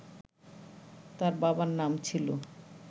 তার বাবার নাম ছিল